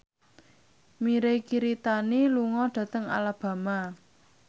Mirei Kiritani lunga dhateng Alabama